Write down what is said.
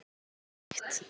Enda ekki annað hægt.